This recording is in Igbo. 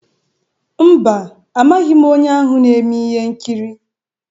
Mba, amaghị m onye ahụ na-eme ihe nkiri.